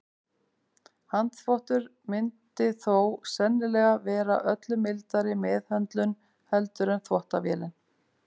Handþvottur myndi þó sennilega vera öllu mildari meðhöndlun heldur en þvottavélin.